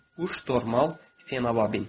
Quş normal fenabildir.